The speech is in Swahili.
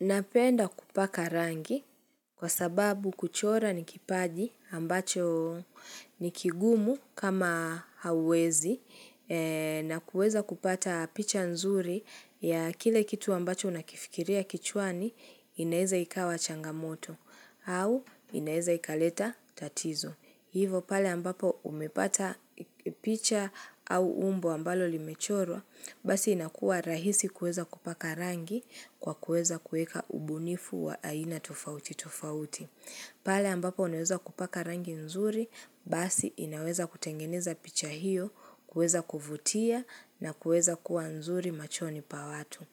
Napenda kupaka rangi kwa sababu kuchora ni kipaji ambacho ni kigumu kama hawezi na kuweza kupata picha nzuri ya kile kitu ambacho unakifikiria kichwani inaeza ikawa changamoto au inaeza ikaleta tatizo. Hivo pale ambapo umepata picha au umbo ambalo limechorwa, basi inakua rahisi kueza kupaka rangi kwa kuweza kuweka ubunifu wa aina tofauti tofauti. Pale ambapo unaweza kupaka rangi nzuri, basi inaweza kutengeneza picha hiyo, kuweza kuvutia na kuweza kuwa nzuri machoni pa watu.